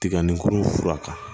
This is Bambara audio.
Tiga ni kunkolo fura kan